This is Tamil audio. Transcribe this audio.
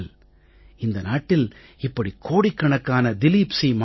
ஆனால் இந்த நாட்டில் இப்படி கோடிக்கணக்கான திலிப் சீ